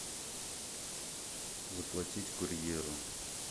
заплатить курьеру